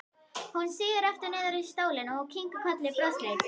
Hún sígur aftur niður í stólinn og kinkar kolli brosleit.